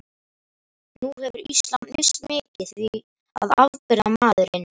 Nú hefur Ísland misst mikið, því að afburðamaðurinn